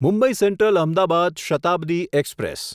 Mumbai central Ahmedabad Shatabdi express